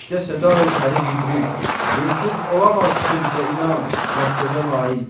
İşte səda-i Pəri Cibril, bunsuz olamaz kimsə inan, məqsədə nail.